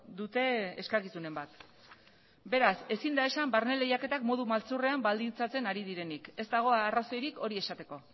dute eskakizunen bat beraz ezin da esan barne lehiaketak modu maltzurrean baldintzatzen ari direnik ez dago arrazoirik hori esateko